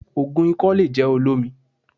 Ògùn ikọ́ le jẹ́ olómi